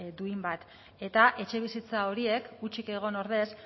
duin bat eta etxebizitza horiek hutsik egon ordez